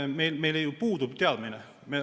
On tõsi, et meil ju puudub teadmine.